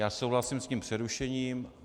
Já souhlasím s tím přerušením.